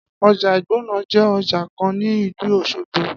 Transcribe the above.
Ọjà ìgbọ̀nọ̀ je ọjà kan ni ìlú Òsogbo